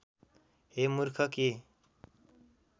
हे मूर्ख के